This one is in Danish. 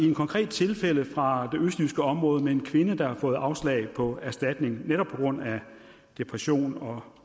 et konkret tilfælde fra det østjyske område hvor en kvinde har fået afslag på erstatning netop på grund af depression og